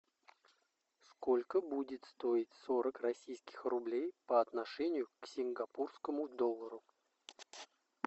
сколько будет стоить сорок российских рублей по отношению к сингапурскому доллару